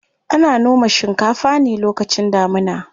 Ana noma shinkafa ne lokacin damuna.